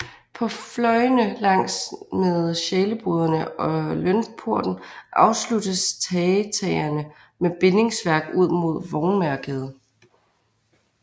På fløjene langs med Sjæleboderne og Lønporten afsluttes tagetagerne med bindingsværk ud mod Vognmagergade